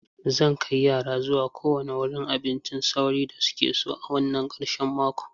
Zan kai yara zuwa kowane wurin abincin sauri da suke so a wannan ƙarshen makon.